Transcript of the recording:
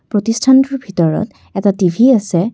প্ৰতিষ্ঠানটোৰ ভিতৰত এটা টি_ভি আছে।